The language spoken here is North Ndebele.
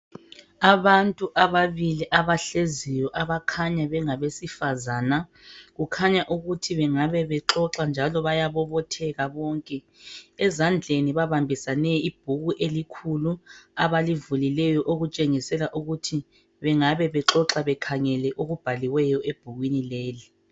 Abantu abababili abahleziyo abakhanya ngabesifazana kukhanya ukuthi bangabebexoxa njalo bayabobotheka bonke ezandleni babambisane ibhuku elikhulu abalivulileyo okutshengisela ukuthi bangabe bexoxa bekhangele okubhaliweyo ebhukwini leli.